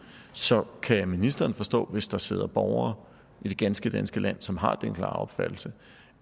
så kan ministeren forstå hvis der sidder borgere i det ganske danske land som har den klare opfattelse